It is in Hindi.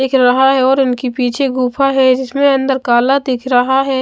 दिख रहा हैऔर उनकी पीछे गुफा है जिसमें अंदर काला दिख रहा है।